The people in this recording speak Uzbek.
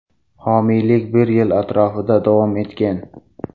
Homiylik bir yil atrofida davom etgan.